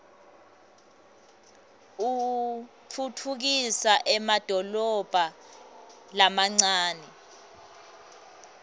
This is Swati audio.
utfutfukisa emadolobha lamancane